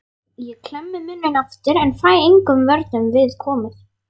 Ég klemmi munninn aftur en fæ engum vörnum við komið.